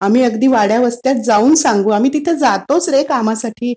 आम्ही अगदी वाड्या-वस्त्यात जाऊन सांगू. आम्ही तिथं जातोच रे कामासाठी.